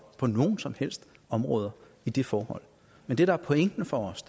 på noget som helst område i det forhold men det der er pointen for os